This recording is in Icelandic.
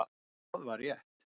Það var rétt.